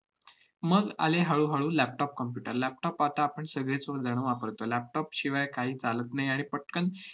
मग आले हळूहळू laptop computer. laptop आता आपण सगळेच जण वापरतो. laptop शिवाय काही चालत नाही आणि पटकन